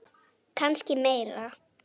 Kannski meira.